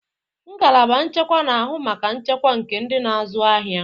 Ngalaba nchekwa na-ahụ maka nchekwa nke ndị na-azụ ahịa.